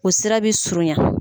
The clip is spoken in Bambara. U sira bɛ surunya.